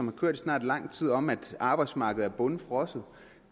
har kørt i snart lang tid om at arbejdsmarkedet er bundfrosset